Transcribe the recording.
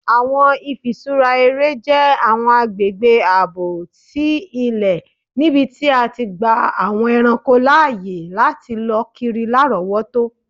Awọn ifiṣura ere jẹ awọn agbegbe aabo ti ilẹ nibiti a ti gba awọn ẹranko laaye lati lọ kiri larọwọto.